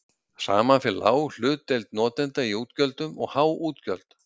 Saman fer lág hlutdeild notenda í útgjöldum og há útgjöld.